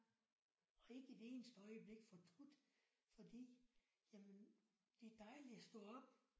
Og ikke et eneste øjeblik fortrudt fordi jamen det er dejligt at stå op